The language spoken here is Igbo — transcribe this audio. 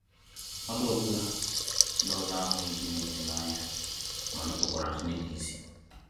Mmadụ ọ bụla ndị ọzọ ahụghị Chineke na-anya ma nupukwara Chineke isi.